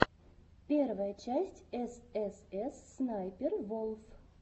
первая часть эс эс эс снайпер волф